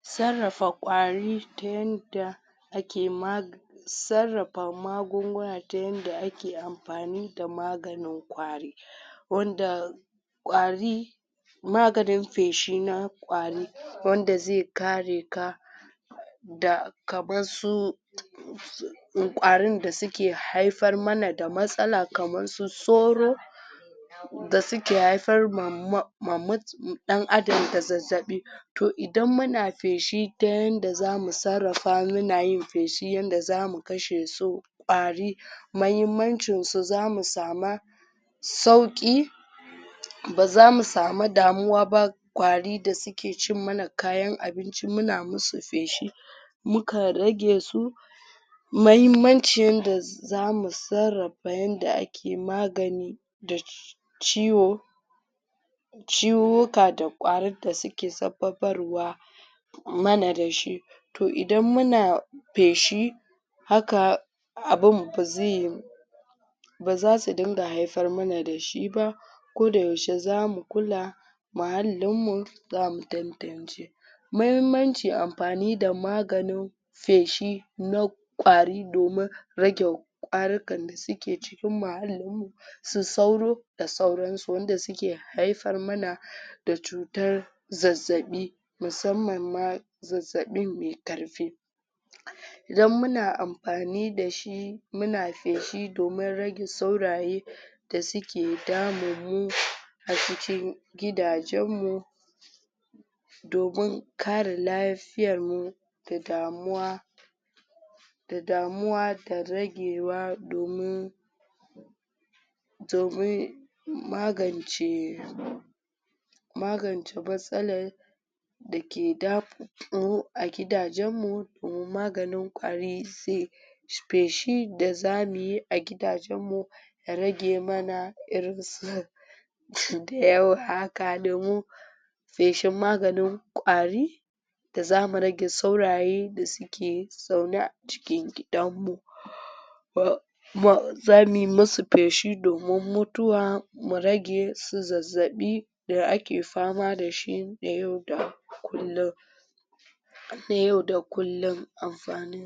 sarrafa ƙwari ta yanda ake mag sarrafa magunguna ta yanda ake amfani da maganin ƙwari wanda ƙwari maganin feshi na ƙwari wanda zai kare ka da kaman su ƙwarin da suke haifar mana da matsala kamar su soro da suke haifar ma mut ɗan adam da zazzaɓi to idan muna feshi ta yanda zamu sarrafa muna yin feshi yanda zamu kashe su ƙwari mahimmancin su zamu sama sauƙi bazamu samu damuwa ba ƙwari da suke cinmana kayan abinci muna musu feshi mukan rage su mahimmancin da zamu sarrafa yanda ake magani da ciwo ciwuwwuka da ƙwarin ds suke sabbabarwa mana dashi to idan muna feshi haka abun bazai bazasu dinga haifar mana dashi ba ko da yaushe zamu kula muhallinmu zamu tantance mahimmanci amfani da maganin feshi na ƙwari domin rage ƙwarukan da suke cikin muhallin mu su sauro da sauran su wanda suke haifar mana da cutar zazzaɓi musamman ma zazzaɓin mai ƙarfi dan muna amgani dashi muna faeshi domin rage sauraye da suke damun mu a cikin gidajen mu domin kare lafiyar mu da damuwa da damuwa da ragewa domin domin magance magance matsalar dake damu mu a gidajen mu mu maganin ƙwari zai feshi da zamuyi a gidajen mu ya rage mana irin su su dayawa haka domin feshin maganin ƙwari da zamu rage sauraye da suke zaune a cikin gidanmu zamuyi musu feshi domin mutuwa mu rage su zazzaɓi da ake fama dashi na yau da kullun na yau da kullun amfa.